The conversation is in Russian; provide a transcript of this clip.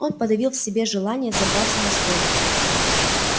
он подавил в себе желание забраться на стул